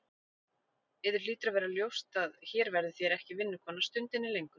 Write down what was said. Yður hlýtur að vera ljóst að hér verðið þér ekki vinnukona stundinni lengur.